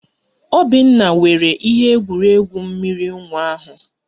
Obinna were ihe egwuregwu mmiri nwa ahụ